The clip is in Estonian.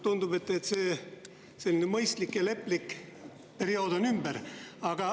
" Tundub, et teie mõistlik ja leplik periood on ümber.